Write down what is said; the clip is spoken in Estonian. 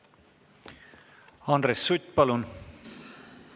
Andres Sutt, palun!